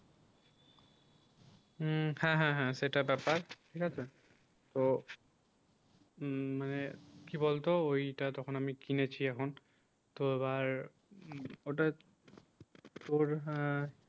উম হ্যাঁ হ্যাঁ হ্যাঁ সেটা ব্যাপার ঠিক আছে তো উম মানে কি বলতো ওইটা তখন আমি কিনেছি এখন তো এবার ওটা তোর আহ